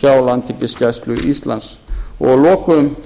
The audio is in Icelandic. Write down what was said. hjá landhelgisgæslu íslands að lokum